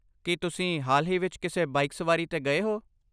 ਕੀ ਤੁਸੀਂ ਹਾਲ ਹੀ ਵਿੱਚ ਕਿਸੇ ਬਾਈਕ ਸਵਾਰੀ 'ਤੇ ਗਏ ਹੋ?